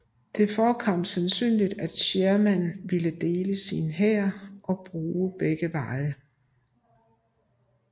Det forekom sandsynligt at Sherman ville dele sin hær og bruge begge veje